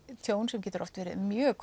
tjón sem getur oft verið mjög